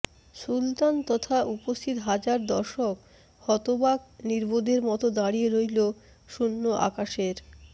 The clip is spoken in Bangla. সুলতান তথা উপস্থিত হাজার দর্শক হতবাক নির্বোধের মতো দাঁড়িয়ে রইলো শূন্য আকাশের